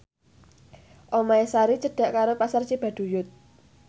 omahe Sari cedhak karo Pasar Cibaduyut